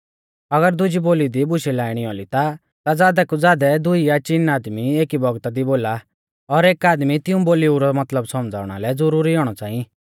अगर दुजी बोली दी बुशै लाइणी औली ता ज़ादै कु ज़ादै दुई या चीन आदमी एकी बौगता दी बोला और एक आदमी तिऊं बोलीऊ रौ मतलब सौमझ़ावा लै ज़ुरुरी औणौ च़ांई